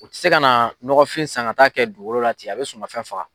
U tɛ se ka na ɲɔgɔnfin san ka taa kɛ dugukolo la ten, a bɛ suma fɛn faga.